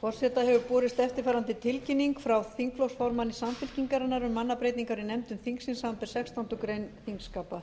forseta hefur borist eftirfarandi tilkynning frá þingflokksformanni samfylkingarinnar um mannabreytingar í nefndum þingsins samanber sextándu grein þingskapa